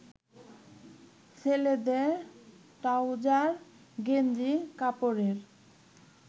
ছেলেদের ট্রাউজার গেঞ্জি কাপড়ের